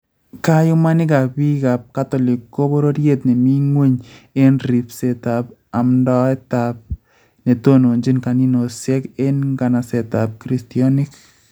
Kayuumanikab biikaab kotolik Ko bororyet ne mi ng�weny en ribseetab amndoeetaab netononchin kanisosiek en nkanasetaab kristyoniik